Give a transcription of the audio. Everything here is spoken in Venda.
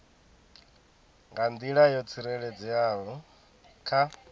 nga nḓila yo tsireledzeaho kha